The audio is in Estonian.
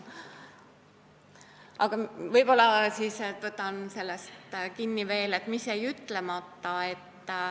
Aga võib-olla siis võtan veel sellest mõttest kinni, et mis jäi ütlemata.